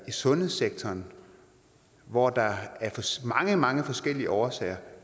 i sundhedssektoren hvor der af mange mange forskellige årsager